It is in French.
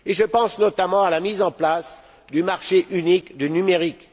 Je pense notamment à la mise en place du marché unique du numérique.